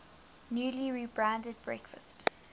newly rebranded breakfast